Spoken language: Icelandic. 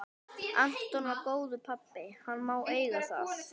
Anton var góður pabbi, hann má eiga það.